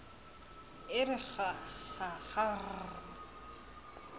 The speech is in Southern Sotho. e re kg kg kgrr